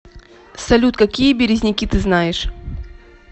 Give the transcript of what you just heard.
салют какие березники ты знаешь